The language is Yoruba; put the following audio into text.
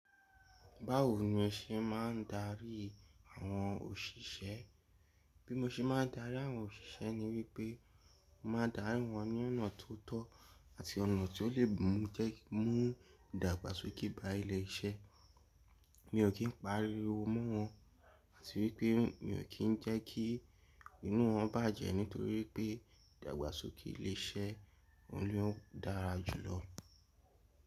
Báwo ni o se máa ń darí àwọn òṣìṣẹ́? Bí mo ṣe máa ń darí àwọn òṣìṣẹ́ ni wípé mo máa darí wọn ní ọ̀nà tó tọ́ àti ọ̀nà tí ó lè mú jẹ́ kí mu dàgbàsókè bá ilé iṣẹ́. Mi ò kí ń pariwo mọ́ wọn àti wípé mi ò kí ń jẹ́ kí inú wọn bàjẹ́ nítorí pé ìdàgbàsókè ilé iṣẹ́ o ni ó dára jù lọ.